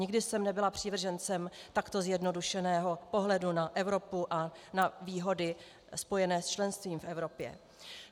Nikdy jsem nebyla přívržencem takto zjednodušeného pohledu na Evropu a na výhody spojené s členstvím v Evropě.